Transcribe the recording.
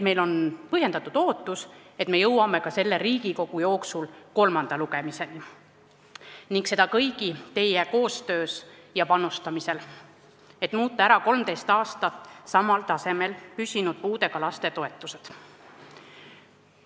Meil on põhjendatud ootus jõuda selle Riigikogu koosseisu jooksul ka kolmanda lugemiseni – seda kõigi teie koostöös ja panustamisel –, et muuta ära puudega laste toetused, mis on 13 aastat püsinud samal tasemel.